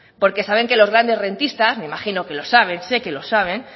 porque saben que los grandes rentistas me imagino que lo saben sé que lo saben